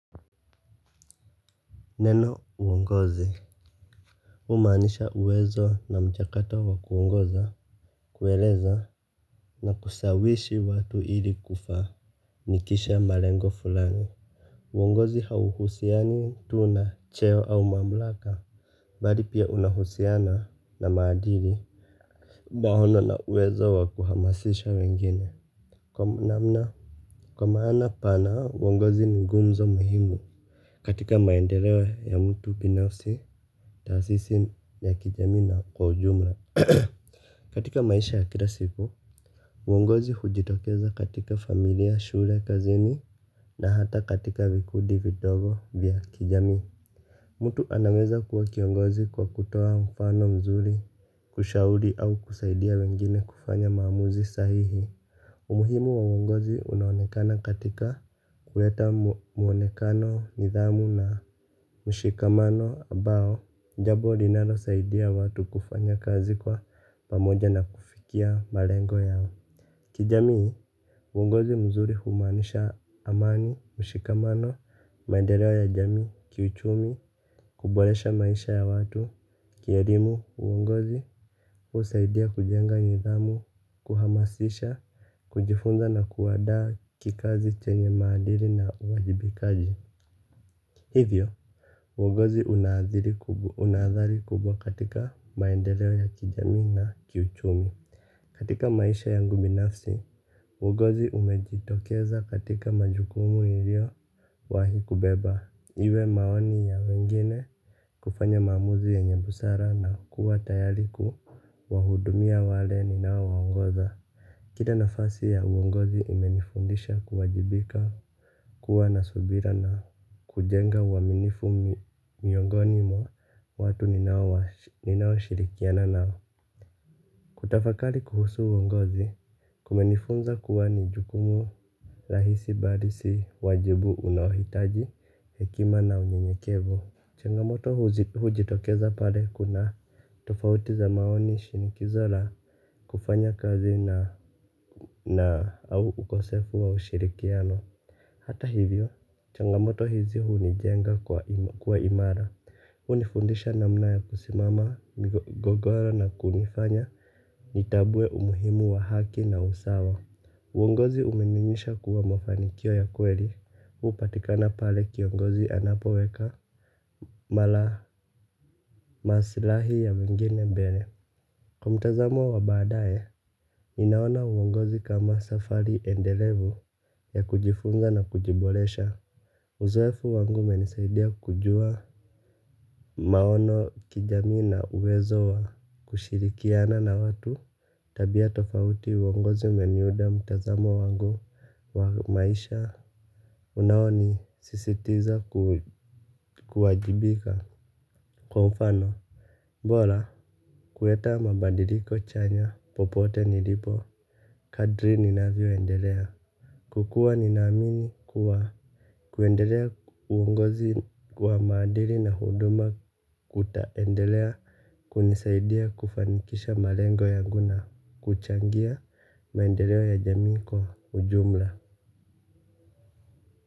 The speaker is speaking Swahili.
Neno uongozi humaanisha uwezo na mchakata wa kuongoza. Kueleza na kusawishi watu ili kufa nikisha malengo fulani uongozi hauhusiani tu na cheo au mamlaka. Bali pia unahusiana na maadili maono na uwezo wa kuhamasisha wengine. Kwa namna kwa maana pana uongozi ni nguzo muhimu. Katika maendeleo ya mtu binafsi taasisi ya kijamii na kwa ujumla katika maisha ya kila siku. Uongozi hujitokeza katika familia shule kazini. Na hata katika vikundi vidogo vya kijamii. Mtu anaweza kuwa kiongozi kwa kutoa mfano mzuri. Kushauri au kusaidia wengine kufanya maamuzi sahihi. Umuhimu wa uongozi unaonekana katika kuleta mwonekano nidhamu na mshikamano ambao jambo linalosaidia watu kufanya kazi kwa pamoja na kufikia malengo yao. Kijamii, uongozi mzuri humaanisha amani, mshikamano, maendeleo ya jamii, kiuchumi, kuboresha maisha ya watu, kielimu uongozi, husaidia kujenga nidhamu, kuhamasisha, kujifunza na kuandaa kikazi chenye maadili na uwajibikaji. Hivyo, uongozi una athari kubwa katika maendeleo ya kijamii na kiuchumi. Katika maisha yangu binafsi, uongozi umejitokeza katika majukumu niliyowahi kubeba. Iwe maoni ya wengine kufanya maamuzi yenye busara na kuwa tayari kuwahudumia wale ninaowaongoza kile nafasi ya uongozi imenifundisha kuwajibika kuwa na subira na kujenga uaminifu miongoni mwa watu ninaoshirikiana nao. Kutafakari kuhusu uongozi, kumenifunza kuwa ni jukumu rahisi bali si wajibu unaohitaji hekima na unyenyekevu. Changamoto hujitokeza pale kuna tofauti za maoni shinikizo la kufanya kazi na au ukosefu wa ushirikiano. Hata hivyo, changamoto hizi hunijenga kwa imara. Hunifundisha namna ya kusimama, migogoro na kunifanya nitambue umuhimu wa haki na usawa. Uongozi umenionyesha kuwa mafanikio ya kweli. Hupatikana pale kiongozi anapoweka mara masilahi ya wengine mbele. Kwa mtazamo wa baadae ninaona uongozi kama safari endelevu ya kujifunza na kujiboresha. Uzoefu wangu umenisaidia kujua maono kijamii na uwezo wa kushirikiana na watu tabia tofauti uongozi umeniuda mtazamo wangu wa maisha. Unaonisisitiza kuwajibika kwa mfano bora kuleta mabadiliko chanya popote nilipo kadri ninavyoendelea. Kwa kuwa ninaamini kuwa kuendelea uongozi kwa maadili na huduma kutaendelea. Kunisaidia kufanikisha malengo yangu na kuchangia maendeleo ya jamii kwa ujumla.